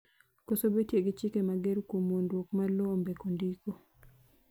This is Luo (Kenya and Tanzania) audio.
koso betie gi chike mager kuom wuondruok mar lowo ombeko ndiko